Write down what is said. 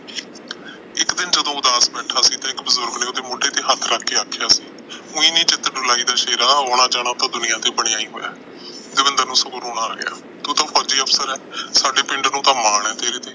ਇੱਕ ਦਿਨ ਜਦੋਂ ਉਦਾਸ ਬੈਠਾ ਸੀ, ਇੱਕ ਬਜੁਰਗ ਨੇ ਉਹਦੇ ਮੋਢੇ ਤੇ ਹੱਥ ਰੱਖ ਕੇ ਆਖਿਆ, ਉਈ ਨੀ ਚਿੱਤ ਡੁਲਾਇਦਾ ਸ਼ੇਰਾ, ਆਉਣਾ-ਜਾਣਾ ਤਾਂ ਦੁਨੀਆ ਤੇ ਬਣਿਆ ਹੀ ਹੋਇਆ। ਦਵਿੰਦਰ ਨੂੰ ਸਗੋਂ ਰੋਣਾ ਆ ਗਿਆ, ਤੂੰ ਤਾਂ ਫੌਜੀ ਅਫਸਰ ਏ। ਸਾਡੇ ਪਿੰਡ ਨੂੰ ਤਾਂ ਮਾਣ ਏ ਤੇਰੇ ਤੇ।